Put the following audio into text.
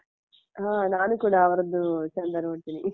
ಹ ನಾನು ಕೂಡಾ ಅವ್ರದ್ದು ಚಂದ ನೋಡ್ತೆನೆ .